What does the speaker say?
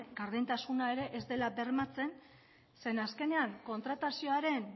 gardentasuna ere ez dela bermatzen ze azkenean kontratazioaren